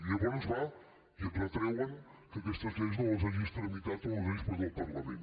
llavors van i et retreuen que aquestes lleis no les hagis tramitat o no les hagis portat al parlament